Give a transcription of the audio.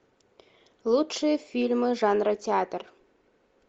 лучшие фильмы жанра театр